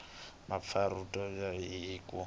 mpfapfarhuto byi tikomba hi ku